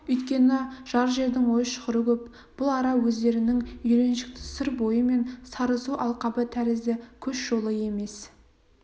өйткені жат жердің ой-шұқыры көп бұл ара өздерінің үйреншікті сыр бойы мен сарысу алқабы тәрізді көш жолы емес